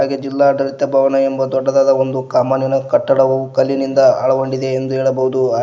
ಹಾಗೆ ಜಿಲ್ಲಾಡಳಿತ ಭವನ ಎಂಬ ದೊಡ್ಡದಾದ ಒಂದು ಕಮಾನಿನ ಕಟ್ಟಡವು ಕಲ್ಲಿನಿಂದ ಒಳಗೊಂಡಿದೆ ಎಂದು ಹೇಳಬಹುದು.